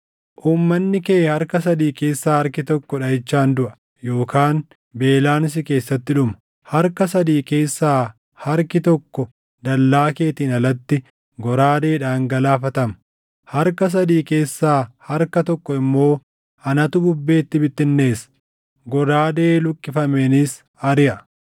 Uummanni kee harka sadii keessaa harki tokko dhaʼichaan duʼa yookaan beelaan si keessatti dhuma; harka sadii keessaa harki tokko dallaa keetiin alatti goraadeedhaan galaafatama; harka sadii keessaa harka tokko immoo anatu bubbeetti bittinneessa; goraadee luqqifameenis ariʼa.